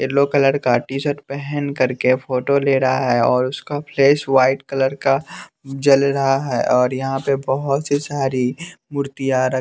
yellow colour का T shirt पहन कर के फोटो ले रहा है और उसका फ्लेश वाइट कलर का जल रहा है और यहाँ पे बहोत सी सारी मूर्तियां र--